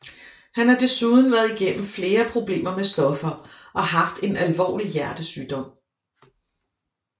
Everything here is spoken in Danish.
Han har desuden været igennem flere problemer med stoffer og haft en alvorlig hjertesygdom